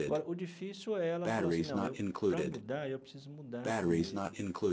Agora, o difícil é ela falar assim, não eu, para mudar, eu preciso mudar primeiro.